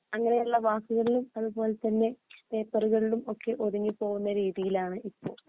അങ്ങനെയുള്ള വാക്കുകളിലും അതു പോലെ തന്നെ പേപ്പറുകളിലും ഒക്കെ ഒതുങ്ങി പോകുന്ന രീതിയിലാണ് ഇപ്പോ